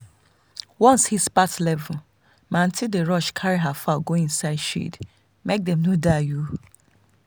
once heat pass level my aunty dey rush carry her fowl go inside shade make dem no die.